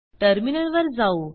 terminal वर जाऊ